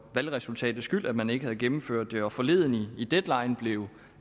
valgresultatets skyld at man ikke havde gennemført det og forleden i deadline blev